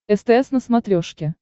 стс на смотрешке